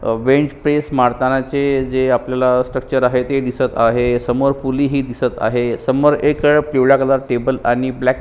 अ bench press मारताना चे जे आपल्याला स्ट्रक्चर आहे ते दिसत आहे समोर पुली ही दिसत आहे समोर एक पिवळा कलर टेबल आणि ब्लॅक --